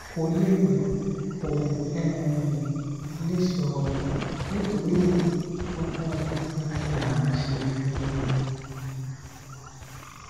kò lè rìn kò um lè sọrọ nítorí náà gbogbo nǹkan la ṣe fún un